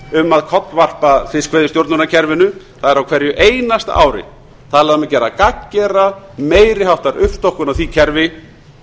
um að kollveiða fiskveiðistjórnarkerfinu það er á hverju einasta ári talað um að gera gagngera meiri háttar uppstokkun á því kerfi